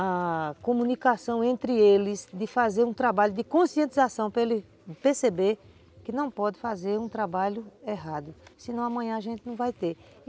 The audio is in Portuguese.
a comunicação entre eles, de fazer um trabalho de conscientização para ele perceber que não pode fazer um trabalho errado, senão amanhã a gente não vai ter.